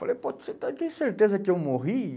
Falei, pô, você está, tem certeza que eu morri?